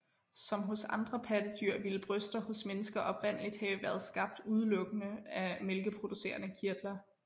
Som hos andre pattedyr ville bryster hos mennesker oprindeligt have været skabt udelukkede af mælkeproducerende kirtler